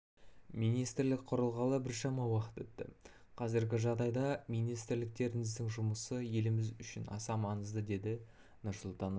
министрлік құрылғалы біршама уақыт өтті қазіргі жағдайда министрліктеріңіздің жұмысы еліміз үшін аса маңызды деді нұрсұлтан назарбаев